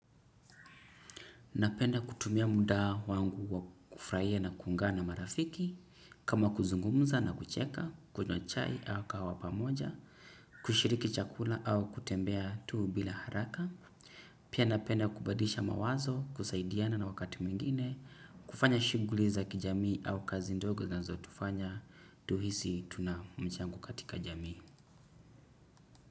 Napenda kutumia muda wangu wa kufraia na kunga na marafiki, kama kuzungumuza na kucheka, kujua chai au kawa wapamoja, kushiriki chakula au kutembea tuu bila haraka. Pia napenda kubalidisha mawazo, kusaidiana na wakati mwingine, kufanya shughuli za kijamii au kazi ndogo zinazotufanya, tuhisi tuna mchango katika jamii.